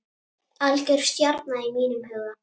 Algjör stjarna í mínum huga.